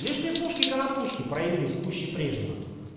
лишь веснушки конопушки появились пуще прежнего